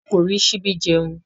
A kò rí síbi jẹun